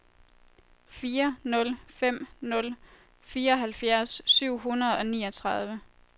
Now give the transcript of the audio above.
fire nul fem nul fireoghalvfjerds syv hundrede og niogtredive